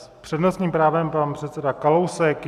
S přednostním právem pan předseda Kalousek.